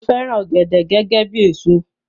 Mo fẹràn ògèdè gẹgẹ bíi èso